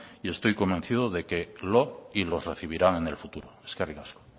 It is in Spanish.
y estoy convencido de que los recibirán el futuro eskerrik asko